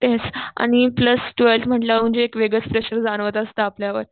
तेच आणि plus twelfth म्हंटल्यावर म्हणजे एक वेगळंच प्रेशर जाणवत असत आपल्यावर